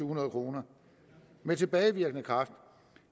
hundrede kroner med tilbagevirkende kraft